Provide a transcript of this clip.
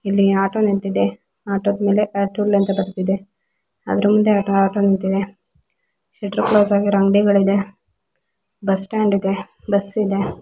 ಇಲ್ಲಿ ಆಟೋ ನಿಂತಿದೆ ಆಟೋ ದ ಮೇಲೆ ಅತುಲ್ ಅಂತ ಬರ್ದಿದೆ ಅದರ ಮುಂದೆ ಆಟೋ ನಿಂತಿದೆ ಶಟ್ಟರ್ ಕ್ಲೋಸ್ ಆಗಿರುವ ಅಂಗಡಿಗಳಿದೆ ಬಸ್ ಸ್ಟಾಂಡ್ ಇದೆ ಬಸ್ ಇದೆ.